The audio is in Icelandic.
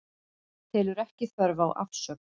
Telur ekki þörf á afsögn